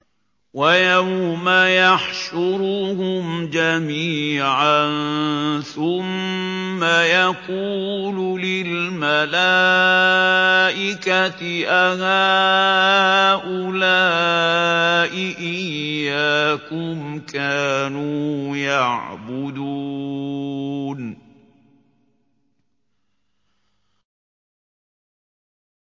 وَيَوْمَ يَحْشُرُهُمْ جَمِيعًا ثُمَّ يَقُولُ لِلْمَلَائِكَةِ أَهَٰؤُلَاءِ إِيَّاكُمْ كَانُوا يَعْبُدُونَ